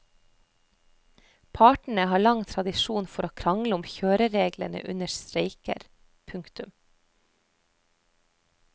Partene har lang tradisjon for å krangle om kjørereglene under streiker. punktum